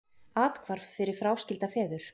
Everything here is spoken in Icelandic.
Athvarf fyrir fráskilda feður